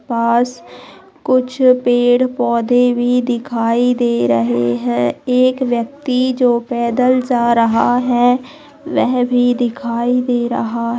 पास कुछ पेड़-पौधे भी दिखाई दे रहे है एक व्यक्ति जो पैदल जा रहा है वह भी दिखाई दे रहा